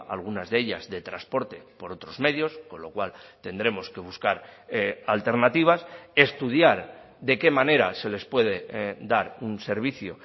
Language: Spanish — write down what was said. algunas de ellas de transporte por otros medios con lo cual tendremos que buscar alternativas estudiar de qué manera se les puede dar un servicio